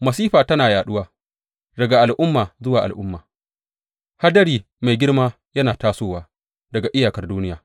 Masifa tana yaɗuwa daga al’umma zuwa al’umma; hadari mai girma yana tasowa daga iyakar duniya.